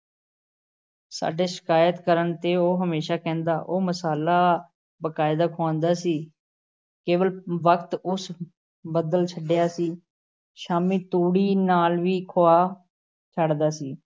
ਸਾਡੇ ਸ਼ਿਕਾਇਤ ਕਰਨ ਤੇ ਉਹ ਹਮੇਸ਼ਾਂ ਕਹਿੰਦਾ, ਉਹ ਮਸਾਲਾ ਬਕਾਇਦਾ ਖੁਆਂਦਾ ਸੀ, ਕੇਵਲ ਵਕਤ ਉਸ ਬਦਲ ਛੱਡਿਆ ਸੀ । ਸ਼ਾਮੀਂ ਤੂੜੀ ਨਾਲ਼ ਵੀ ਖੁਆ ਛੱਡਦਾ ਸੀ ।